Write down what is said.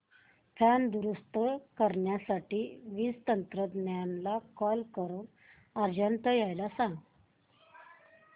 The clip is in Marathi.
पंखा दुरुस्त करण्यासाठी वीज तंत्रज्ञला कॉल करून अर्जंट यायला सांग